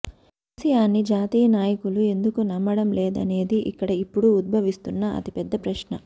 కెసిఆర్ ని జాతీయ నాయకులూ ఎందుకు నమ్మడంలేదనేది ఇక్కడ ఇప్పుడు ఉద్భవిస్తున్న అతిపెద్ద ప్రశ్న